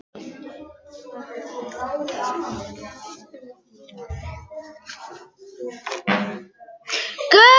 Það er Eva.